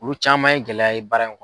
Olu caman ye gɛlɛya ye baara in